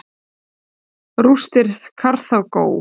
Rústir Karþagó.